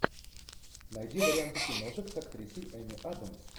найди варианты киношек с актрисой эми адамс